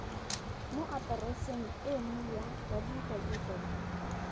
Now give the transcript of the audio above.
mo atereseng eno ya www